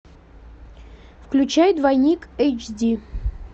включай двойник эйч ди